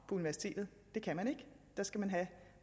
på universitetet det kan man ikke der skal man have